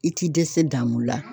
I ti dɛsɛ daamu la